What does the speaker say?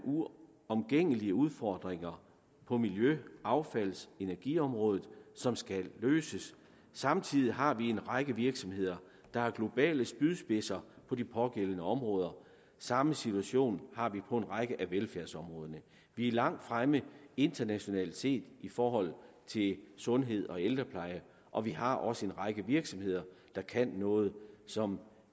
uomgængelige udfordringer på miljø affalds og energiområdet som skal løses samtidig har vi en række virksomheder der er globale spydspidser på de pågældende områder samme situation har vi på en række af velfærdsområderne vi er langt fremme internationalt set i forhold til sundhed og ældrepleje og vi har også en række virksomheder der kan noget som